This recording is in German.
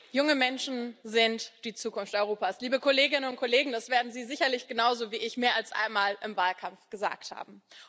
Frau Präsidentin! Junge Menschen sind die Zukunft Europas. Liebe Kolleginnen und Kollegen, das werden Sie sicherlich genauso wie ich mehr als einmal im Wahlkampf gesagt haben.